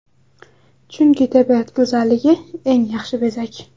Chunki, tabiat go‘zalligi eng yaxshi bezak.